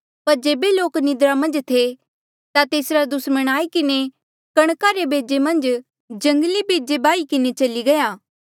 पर जेबे लोक निंद्रा मन्झ थे ता तेसरा दुस्मण आई किन्हें कणका रे बेजे मन्झ जंगली बेजा बाही किन्हें चली गया